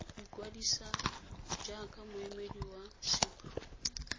ikwadisa jaaka moemedi wa cipro